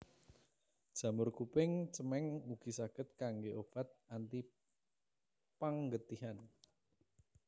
Jamur kuping cemeng ugi saged kanggé obat antipanggetihan